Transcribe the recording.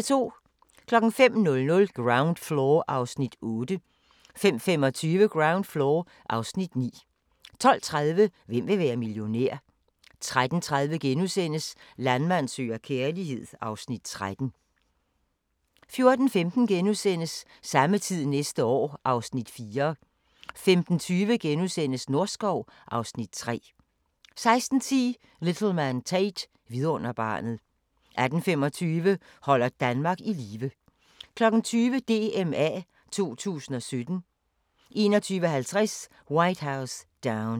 05:00: Ground Floor (Afs. 8) 05:25: Ground Floor (Afs. 9) 12:30: Hvem vil være millionær? 13:30: Landmand søger kærlighed (Afs. 13)* 14:15: Samme tid næste år (Afs. 4)* 15:20: Norskov (Afs. 3)* 16:10: Little Man Tate – vidunderbarnet 18:25: Holder Danmark i live 20:00: DMA 2017 21:50: White House Down